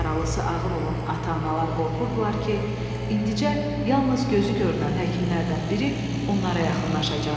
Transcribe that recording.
Yaralısı ağır olan ata-analar qorxurdular ki, indicə yalnız gözü görünən həkimlərdən biri onlara yaxınlaşacaq.